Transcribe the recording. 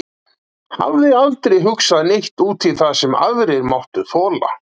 Hafði aldrei hugsað neitt út í það sem aðrir máttu þola.